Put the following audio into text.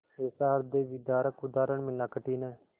ऐसा हृदयविदारक उदाहरण मिलना कठिन है